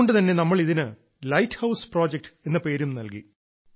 അതുകൊണ്ടുതന്നെ നമ്മൾ ഇതിന് ലൈറ്റ് ഹൌസ് പ്രോജക്ട് എന്ന പേരും നൽകി